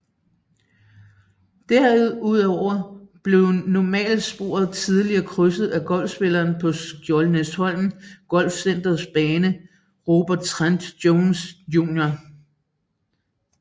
Derudover blev normalsporet tidligere krydset af golfspillere på Skjoldenæsholm Golfcenters bane Robert Trent Jones Jr